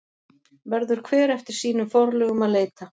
Verður hver eftir sínum forlögum að leita.